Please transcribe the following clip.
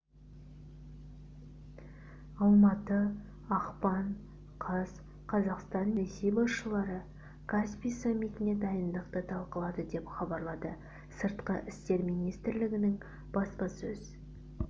алматы ақпан қаз қазақстан мен ресей басшылары каспий саммитіне дайындықты талқылады деп хабарлады сыртқы істер министрлігінің баспасөз